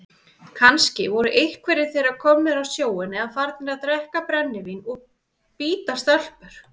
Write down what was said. Kannski voru einhverjir þeirra komnir á sjóinn eða farnir að drekka brennivín og bíta stelpur.